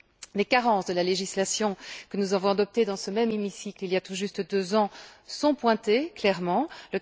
Les carences de la législation que nous avons adoptée dans ce même hémicycle, il y a tout juste deux ans, sont clairement pointées.